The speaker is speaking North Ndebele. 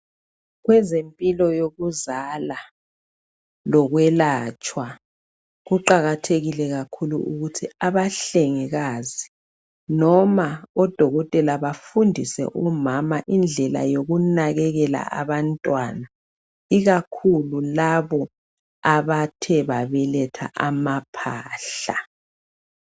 Kwezempilo yokuzala lokuyelatshwa kuqakathekile kakhulu ukuthi abahlengikazi noma odokotela bafundise omama indlela yokunakekela abantwana ikakhulu labo abathe babeletha amaphahla.